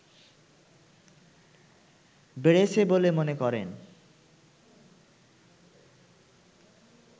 বেড়েছে বলে মনে করেন